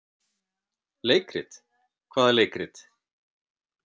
Leikrit, hvaða leikrit?